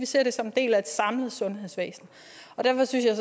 ser det som dele af et samlet sundhedsvæsen derfor synes jeg